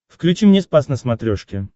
включи мне спас на смотрешке